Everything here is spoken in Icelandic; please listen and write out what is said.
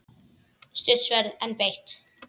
Stutt sverð, en beitt.